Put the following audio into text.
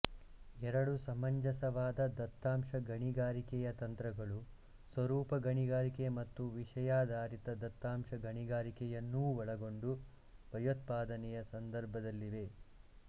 ಎರಡು ಸಮಂಜಸವಾದ ದತ್ತಾಂಶ ಗಣಿಗಾರಿಕೆಯ ತಂತ್ರಗಳು ಸ್ವರೂಪ ಗಣಿಗಾರಿಕೆ ಮತ್ತು ವಿಷಯಾಧಾರಿತ ದತ್ತಾಂಶ ಗಣಿಗಾರಿಕೆಯನ್ನೂ ಒಳಗೊಂಡು ಭಯೋತ್ಪಾದನೆಯ ಸಂದರ್ಭದಲ್ಲಿವೆ